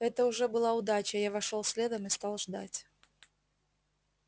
это уже была удача я вошёл следом и стал ждать